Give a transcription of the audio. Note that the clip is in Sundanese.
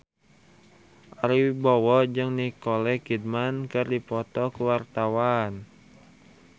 Ari Wibowo jeung Nicole Kidman keur dipoto ku wartawan